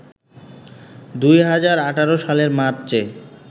২০১৮ সালের মার্চে